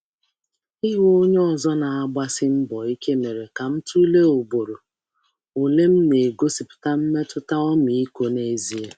Ịhụ onye ọzọ na-agbasi mbọ ike mere ka m tụlee ugboro ole m na-egosipụta mmetụta ọmịiko n’ezie.